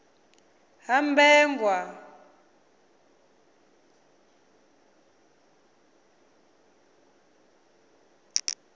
habegwa